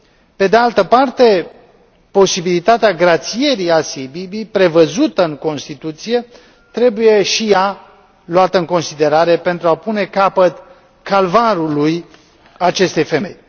Pe de altă parte, posibilitatea grațierii Asiei Bibi prevăzută în Constituție trebuie și ea luată în considerare pentru a pune capăt calvarului acestei femei.